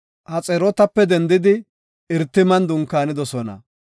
Haxerootape dendidi Irtiman dunkaanidosona.